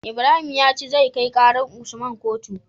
Ibrahim yace zai kai karar usman kotu